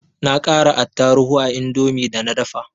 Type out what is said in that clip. Na ƙara attaruhu a indomin da na dafa